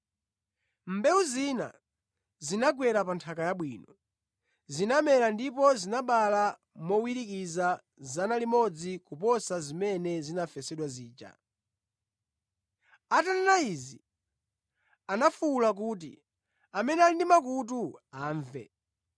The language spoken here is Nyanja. Mbewu zina zinagwera pa nthaka yabwino. Zinamera ndipo zinabala mowirikiza 100 kuposa zimene zinafesedwa zija.” Atanena izi, anafuwula kuti, “Amene ali ndi makutu, amve.”